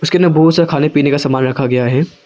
में बहोत सा खाने पीने का सामान रखा गया है।